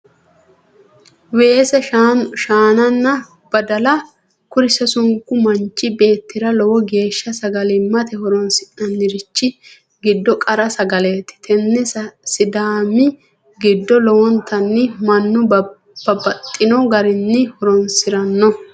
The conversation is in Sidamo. Weese shaannanna badalla, kuri sasunku manchi beetira lowo geesha sagalimate horo'nsinannirichi giddo qara sagaleti, tinino sidaami giddo lowontanni manu babaxino garinni horonsirano